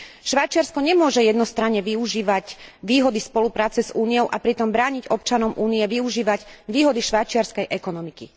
Švajčiarsko nemôže jednostranne využívať výhody spolupráce s Úniou a pritom brániť občanom Únie využívať výhody švajčiarskej ekonomiky.